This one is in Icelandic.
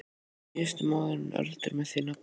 Síðasti mánuður Öldu með því nafni.